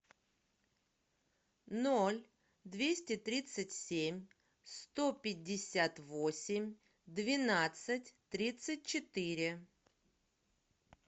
ноль двести тридцать семь сто пятьдесят восемь двенадцать тридцать четыре